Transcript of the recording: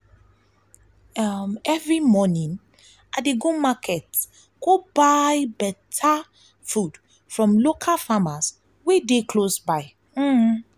um every morning i dey go market go buy food from local farmers wey dey close dey close by.